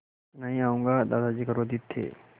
नहीं आऊँगा दादाजी क्रोधित थे